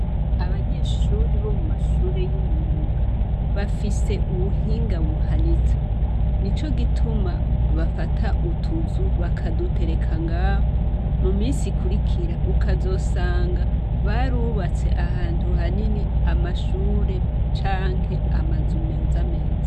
Abanyeshure bo mu mashure y'imyuga, bafise ubuhinga buhanitse. Nico gituma bafata utuzu bakadutereka ngaho. Mu minsi ikurikira ukazosanga barubatse ahantu hanini amashure canke amazu meza meza.